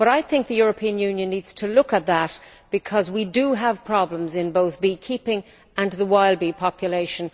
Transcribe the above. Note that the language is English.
I think the European Union needs to look at that, because we do have problems in both beekeeping and the wild bee population.